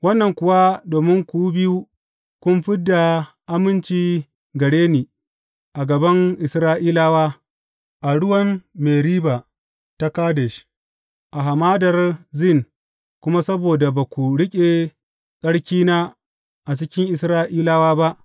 Wannan kuwa domin ku biyu kun fid da aminci gare ni a gaban Isra’ilawa a ruwan Meriba ta Kadesh, a Hamadar Zin kuma saboda ba ku riƙe tsarkina a cikin Isra’ilawa ba.